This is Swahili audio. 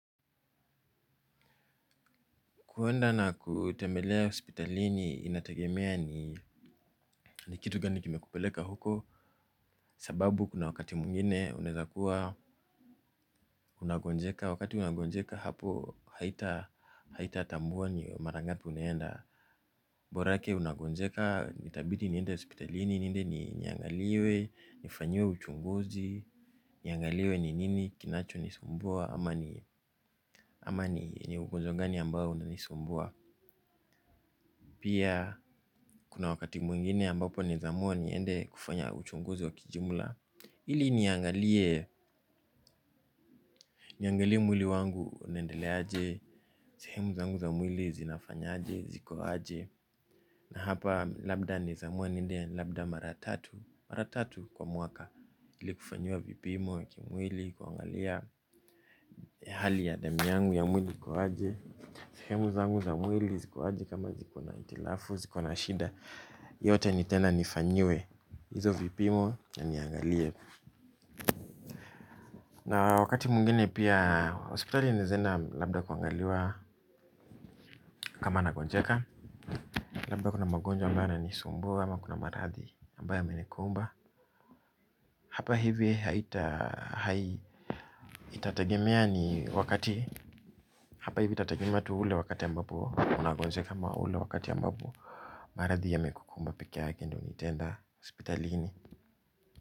Kwenda na kutembelea hospitalini inategemea ni kitu gani kime kupeleka huko. Sababu kuna wakati mwingine unaeza kuwa unagonjeka wakati unagonjeka hapo haita tambua ni mara ngapi unaenda Borake unagonjeka itabidi niende hospitalini niende niangaliwe nifanyiwe uchunguzi, niangaliwe ni nini kinacho nisumbua. Ama ni ugonjwa gani unanisumbua. Pia kuna wakati mwingine ambapo naeza amua niende kufanya uchunguzi wa kijumla ili niangalie, niangalie mwili wangu unaendeleaje. Sehemu zangu za mwili zinafanya aje, ziko aje. Na hapa labda naeza amua niende, labda mara tatu. Maratatu kwa mwaka ili kufanyua vipimo kimwili, kuangalia. Hali ya damu yangu ya mwili iko aje. Sehemu zangu za mwili ziko aje kama ziko na hitilafu, ziko na shida. Yote nitaenda nifanyiwe. Hizo vipimo ya niangalie. Na wakati mwingine pia hospitali naeza enda labda kuangaliwa. Kama nagonjeka, labda kuna magonjwa ambayo yananisumbua ama kuna maradhi ambayo yamenikumba. Hapa hivi haita itategemea ni wakati hapa hivi itategemea tu ule wakati ambapo unagonjeka ama ule wakati ambapo maradhi yamekukumba peke yake ndio nitaenda hospitalini.